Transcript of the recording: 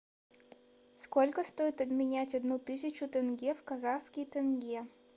сколько стоит обменять одну тысячу тенге в казахский тенге